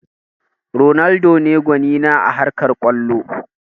Ronaldo ne gwani na a harkar kwallo